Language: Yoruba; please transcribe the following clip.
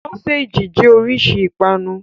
Sọ́séjì jẹ́ oríṣi ìpanu.